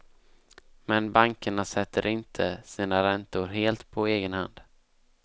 Men bankerna sätter inte sina räntor helt på egen hand.